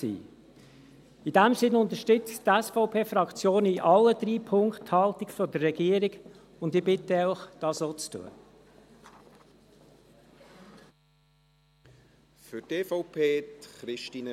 In diesem Sinne unterstützt die SVP-Fraktion in allen drei Punkten die Haltung der Regierung, und ich bitte Sie, dies auch zu tun.